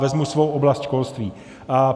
Vezmu svou oblast školství.